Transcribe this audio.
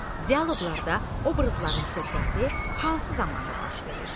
Dialoqlarda obrazların söhbəti hansı zamanda baş verir?